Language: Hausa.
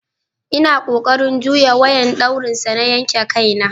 Ina kokarin juyye wayan dauri sa na yanki Kai na.